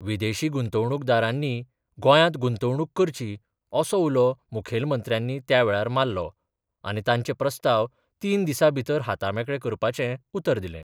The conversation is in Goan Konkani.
विदेशी गुंतवणूकदारांनी गोंयांत गुंतवणूक करची असो उलो मुखैलमंत्र्यानी त्या वेळार मारलो आनी तांचे प्रस्ताव तीस दिसां भितर हातामेकळे करपाचें उतर दिलें.